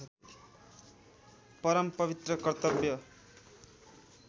परम पवित्र कर्तव्य